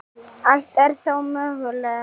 Allt er þó mögulega